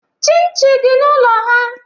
Chinchi dị n'ụlọ ha